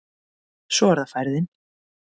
Svo er það færðin